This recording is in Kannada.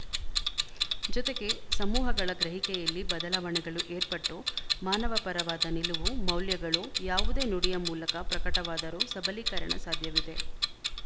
ಜೊತೆಗೆ ಸಮೂಹಗಳ ಗ್ರಹಿಕೆಯಲ್ಲಿ ಬದಲಾವಣೆಗಳು ಏರ್ಪಟ್ಟು ಮಾನವ ಪರವಾದ ನಿಲುವು ಮೌಲ್ಯಗಳು ಯಾವುದೇ ನುಡಿಯ ಮೂಲಕ ಪ್ರಕಟವಾದರೂ ಸಬಲೀಕರಣ ಸಾಧ್ಯವಿದೆ